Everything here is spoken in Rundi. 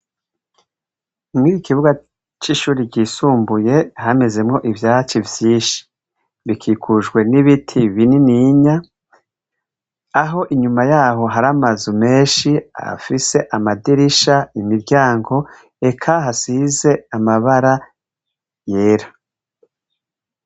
Muriki kibuga c'ishure ryisumbuye hamezemwo ivyatsi vyinshi, gikukujwe n'ibiti vyinshi, aho iyuma har'amazu menshi afise amadirisha, imiryango, eka hasize irangi ryera.